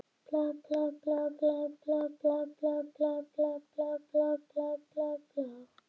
Lætur sem eyru hennar þjóti upp á hilluna og sitji þar lokuð ofan á bókunum.